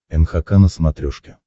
нхк на смотрешке